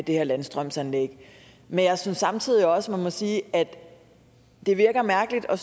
det her landstrømsanlæg men jeg synes samtidig også at man må sige at det virker mærkeligt at